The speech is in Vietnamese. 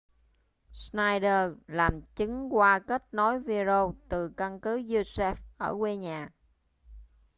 schneider làm chứng qua kết nối video từ căn cứ usaf ở quê nhà